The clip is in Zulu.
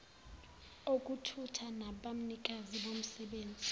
okuthutha nabanikazi bomsebenzi